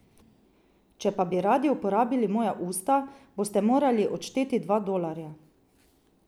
Če pa bi radi uporabili moja usta, boste morali odšteti dva dolarja.